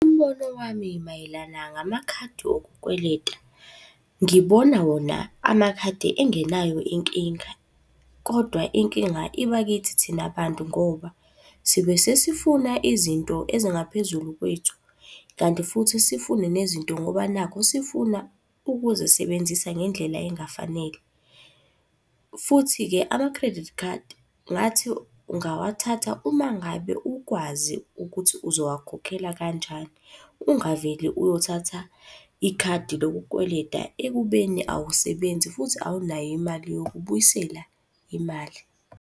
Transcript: Umbono wami mayelana ngamakhadi okukweleta. Ngibona wona amakhadi engenayo inkinga, kodwa inkinga iba kithi thina bantu ngoba sibe sesifuna izinto ezingaphezulu kwethu. Kanti futhi sifune nezinto ngoba nakhu sifuna ukuzisebenzisa ngendlela engafanele. Futhi-ke ama-credit card, ngathi ungawathatha uma ngabe ukwazi ukuthi uzowakhokhela kanjani, ungavele uyothatha ikhadi lokukweleta ekubeni awusebenzi futhi awunayo imali yokubuyisela imali.